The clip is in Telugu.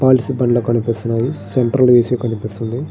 పాలిష్ బండ కనిపిస్తున్నాయి సెంట్రల్ ఏ.సీ. కనిపిస్తుంది.